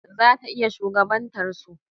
Zata iya shugabantar su.